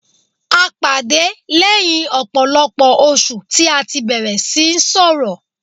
A pàdé lẹ́yìn ọ̀pọ̀lọpọ̀ oṣù tí a tí bẹ̀rẹ̀ síí sọrọ̀.